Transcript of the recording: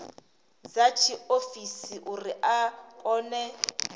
dza tshiofisi uri a kone